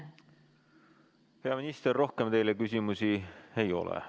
Hea minister, rohkem teile küsimusi ei ole.